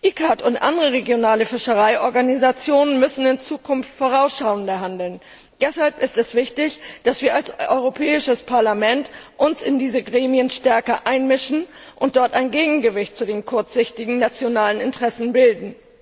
Die ICCAT und andere regionale Fischereiorganisationen müssen in Zukunft vorausschauender handeln. Deshalb ist es wichtig, dass wir als Europäisches Parlament uns in diesen Gremien stärker einmischen und dort ein Gegengewicht zu den kurzsichtigen nationalen Interessen bilden.